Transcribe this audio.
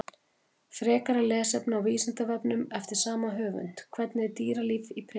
Frekara lesefni á Vísindavefnum eftir sama höfund: Hvernig er dýralíf í Perú?